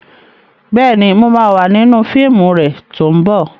Bẹ́ẹ̀ni, mo ma wà nínú fíìmù rẹ tó ń bọ̀